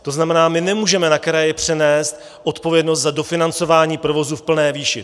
To znamená, my nemůžeme na kraje přenést odpovědnost za dofinancování provozu v plné výši.